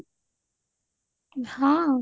ହଁ